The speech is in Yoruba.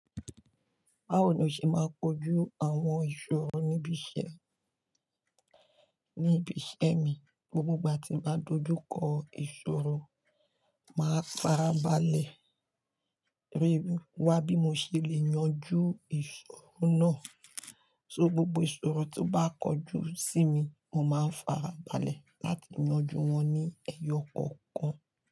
Báwo ni o ṣe máa ń kojú àwọn ìṣòro níbi iṣẹ́ níbi iṣẹ́ mi, gbogbo ìgbà tí n bá dojú kọ ìṣòro, màá fà á balẹ̀, rí i wá bí mo ṣe lè yanjú ìṣòro náà. So gbogbo ìṣòro tó bá kojú sí mi, mo máa ń fà á balẹ̀ láti yanjú wọn ní ẹyọ kọ̀ọ̀kan.